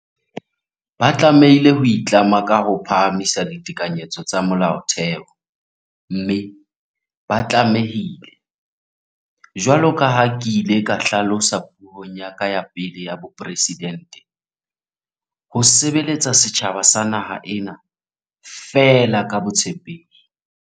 Ba tlameha ho itlama ka ho phahamisa ditekanyetso tsa Molaotheo, mme ba tlame hile, jwalo ka ha ke ile ka hla losa puong ya ka ya pele ya bopresidente, "ho sebeletsa setjhaba sa naha ena feela ka botshepehi".